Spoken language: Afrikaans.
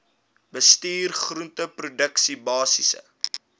bestuur groenteproduksie basiese